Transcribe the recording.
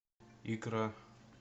икра